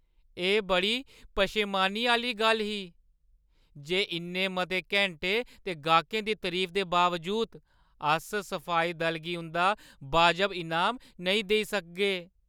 एह् बड़ी पशेमानी आह्‌ली गल्ल ही जे इन्ने मते घैंटें ते गाह्कें दी तरीफा दे बावजूद, अस सफाई दल गी उंʼदा बाजब इनाम नेईं देई सकगे।